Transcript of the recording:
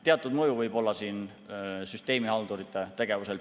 Teatud mõju võib olla siin süsteemihaldurite tegevusel.